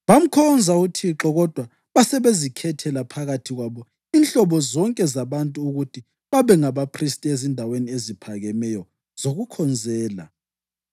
Bamkhonza uThixo, kodwa basebezikhethela phakathi kwabo inhlobo zonke zabantu ukuthi babe ngabaphristi ezindaweni eziphakemeyo zokukhonzela.